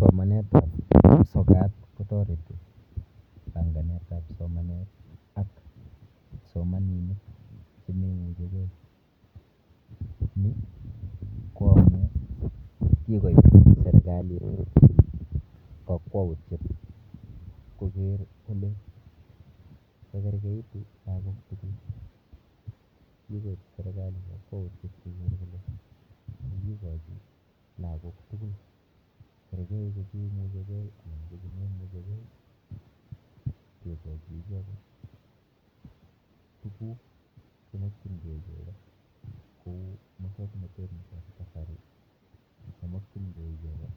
Somanetap sokat kotoreti pankanetap somanet ak kipsomaninik chememuchigei. Ni ko amu kikoip serikalit kakwautyet koker kole kakergeitu lagok tugul. Kikoip serikali kakwautyet koker kole kakikochi lagok tugul kerchei ko cheimuchigei anan ko chememuchigei kekochi icheket tuguk chermokchingei icheket kou musoknotet nepo kasari nemokchingei icheket